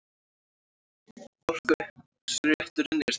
Forkaupsrétturinn er til.